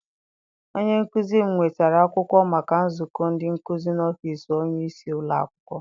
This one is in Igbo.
Onye nkụzi m nwetara akwụkwọ maka nzukọ ndị nkụzi n'ọfịịsi onyeisi ụlọakwụkwọ.